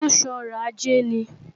Ṣé ó ń sọrọ̀ ajé ni?